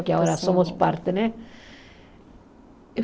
Que agora somos parte, né?